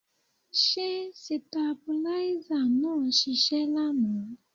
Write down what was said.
Ṣé sitabuláísà náà ṣiṣẹ́ lánàá?